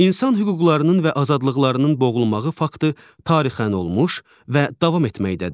İnsan hüquqlarının və azadlıqlarının boğulmağı faktı tarixən olmuş və davam etməkdədir.